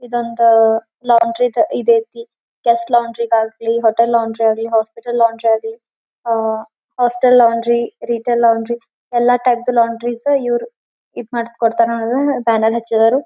ಇದೊಂದ laundry ದ ಇದ ಐತಿ ಫಸ್ಟ್ ಲಾಂಡ್ರಿ ದಾಗಲಿ ಹೋಟೆಲ್ ಲಾಂಡ್ರಿ ಆಗಲಿ ಹಾಸ್ಪಿಟಲ್ ಲಾಂಡ್ರಿ ಆಗಲಿ ah hostel laundry retail laundry ಎಲ್ಲಾ ಟೈಪ್ಸ್ ದ ಲಾಂಡ್ರಿಸ್ ಇವರು ಈದ್ ಮಾಡ್ಸ್ ಕೋಡ್ ತ್ತಾರ್ ಇವರು ಬ್ಯಾನರ್ ಹಚ್ಚಿದರು.